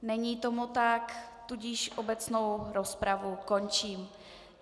Není tomu tak, tudíž obecnou rozpravu končím.